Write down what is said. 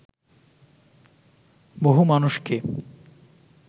বহু মানুষকে